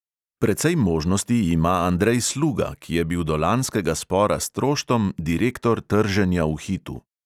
Precej možnosti ima andrej sluga, ki je bil do lanskega spora s troštom direktor trženja v hitu.